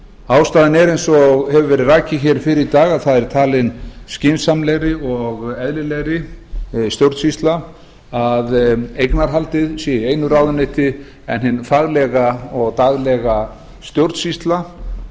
ástæðan er eins og hefur verið rakið fyrr í dag að það er talin skynsamlegri og eðlilegri stjórnsýsla að eignarhaldið sé í einu ráðuneyti en hin faglega og daglega stjórnsýsla